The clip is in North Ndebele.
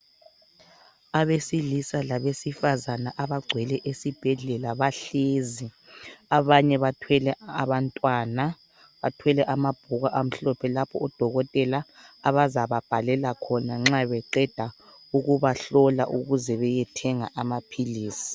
Abesilisa labesifazana abagcwele esibhedlela bahlezi abanye bathwele abantwana bathwele amabhuku amhlophe lapho odokotela abazababhalela khona nxa beqeda ukubahlola ukuze bayethenga amaphilizi.